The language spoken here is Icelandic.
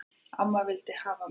Amma vildi hafa mig.